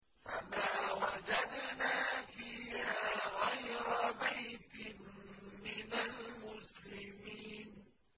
فَمَا وَجَدْنَا فِيهَا غَيْرَ بَيْتٍ مِّنَ الْمُسْلِمِينَ